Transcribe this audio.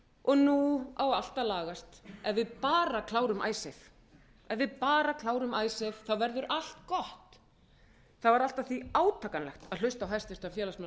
og nú á allt að lagast ef við bara klárum icesave ef við bara klárum icesave verður allt gott það var allt að því átakanlegt að hlusta á hæstvirtan félagsmálaráðherra hérna